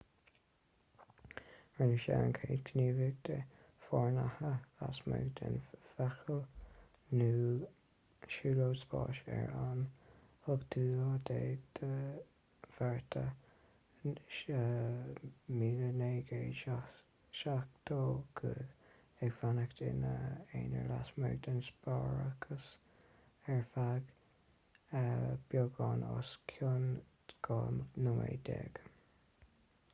rinne sé an chéad ghníomhaíocht fhoireannaithe lasmuigh den fheithicil nó siúlóid spáis ar an 18 márta 1965 ag fanacht ina aonar lasmuigh den spásárthach ar feadh beagán os cionn dhá nóiméad déag